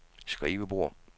skrivebord